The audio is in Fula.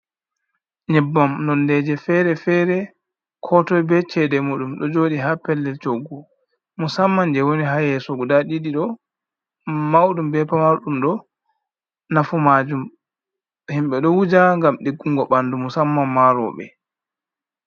Nyebbam nondeje fere-fere ko toi be cede mudum ɗo jodi ha peldel coggu musamman je woni ha yeso guda ɗiɗi ɗo maudum be pamardum ɗo. Nafu majum himbe ɗo wuja gam diggugo bandu musamman ma roɓe.